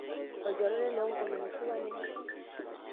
Olchore lai loonkolong'i supa ninye ?